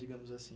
Digamos assim.